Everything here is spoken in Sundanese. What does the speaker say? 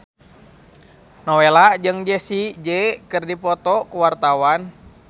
Nowela jeung Jessie J keur dipoto ku wartawan